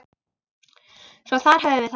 Svo þar höfum við það.